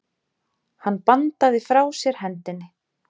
Hann bandaði frá sér hendinni.